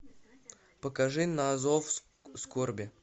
покажи на зов скорби